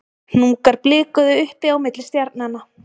Hnúkar blikuðu uppi á milli stjarnanna